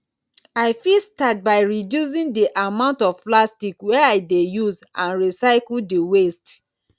i fit start by reducing di amount of plastic wey i dey use and recycle di waste